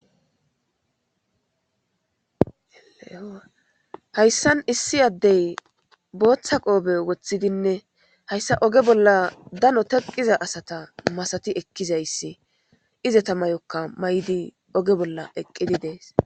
Hayssan issi addey booththa qoophe woththidinne hayssa oge bolla dano teqqiza asata masati ekkizayssi ize tamayokka may'di oge bolla eqqidi dees.